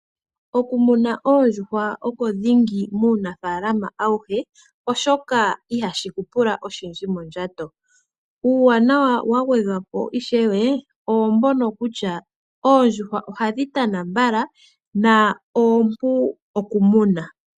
Okumuna oondjuhwa oko dhingi muunafalama awuhe, oshoka ihashi ku pula oshindji mondjato. Uuwanawa wa gwedhwa po ishewe owo mbono kusha oondjuhwa ohadhi tana mbala na oompu oku muna.